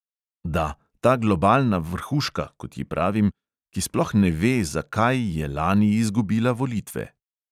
Da, ta globalna vrhuška, kot ji pravim, ki sploh ne ve, zakaj je lani izgubila volitve!